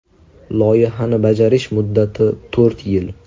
Loyihani bajarish muddati to‘rt yil.